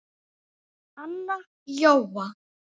Anna Jóa